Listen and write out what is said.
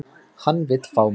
Hann vill fá mig.